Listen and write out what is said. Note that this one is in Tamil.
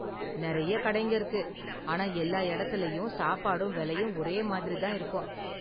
நிறைய கடைங்க இருக்கு, ஆனா எல்லா இடத்துலயும் சாப்பாடும் விலையும் ஒரே மாதிரி தான் இருக்கும்.